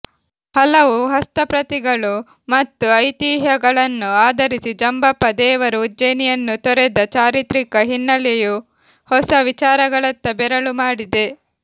ಹಲವು ಹಸ್ತಪ್ರತಿಗಳು ಮತ್ತು ಐತಿಹ್ಯಗಳನ್ನು ಆಧರಿಸಿ ಜಂಬಪ್ಪ ದೇವರು ಉಜ್ಜಯಿನಿಯನ್ನು ತೊರೆದ ಚಾರಿತ್ರಿಕ ಹಿನ್ನೆಲೆಯು ಹೊಸ ವಿಚಾರಗಳತ್ತ ಬೆರಳುಮಾಡಿದೆ